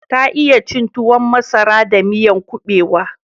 Ta iya cin tuwon masara da miyan kubewa